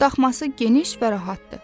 Daxması geniş və rahatdır.